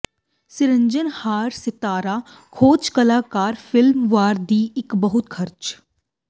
ਸਿਰਜਣਹਾਰ ਸਿਤਾਰਾ ਖੋਜ ਕਲਾਕਾਰ ਫਿਲਮ ਵਾਰ ਦੀ ਇੱਕ ਬਹੁਤ ਖਰਚ